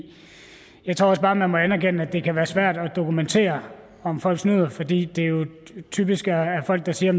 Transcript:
jeg tror også bare man må anerkende at det kan være svært at dokumentere om folk snyder fordi det jo typisk er er folk der siger at